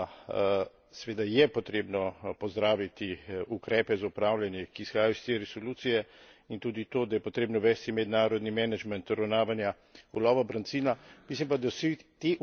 Bi pa dodal to, da seveda je potrebno pozdraviti ukrepe za upravljanje, ki izhajajo iz te resolucije, in tudi to, da je potrebno uvesti mednarodni management uravnavanja ulova brancina.